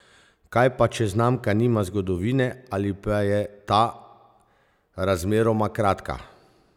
Kaj pa če znamka nima zgodovine, ali pa je ta razmeroma kratka?